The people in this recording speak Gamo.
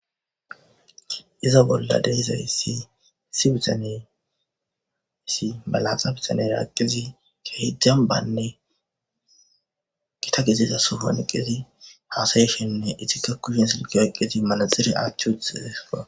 Iza bolla de, izayisi issi bitane issi malaxa bitanera dizi dembanne githa gidiza sohon eqidi hasayishenne izika kushen silke oyikidi manaxire atwutidesko